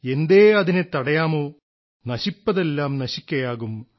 എന്തേ അതിനെ തടയാമോ നശിപ്പതെല്ലാം നശിക്കയാകും